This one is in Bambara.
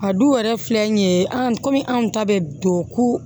A duw yɛrɛ filɛ nin ye an ko anw ta bɛ don ko